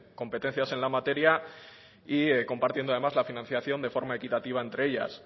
competencias en la materia y compartiendo además la financiación de forma equitativa entre ellas